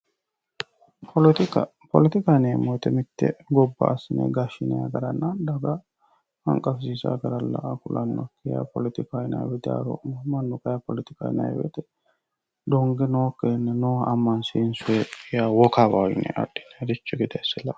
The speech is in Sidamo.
Poletikka, poletikka yineemmo woyte mitte gobba assine gashshinanni garanna daga hanqafisiisano gara la'ano kulano poletikkaho yaa lowo geeshsha diharomano kayini poletikaho yinnanni woyte donge nookkiri abbine amansiisoniha wokawaho yee adhe la'ano.